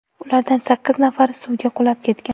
Ulardan sakkiz nafari suvga qulab ketgan.